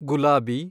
ಗುಲಾಬಿ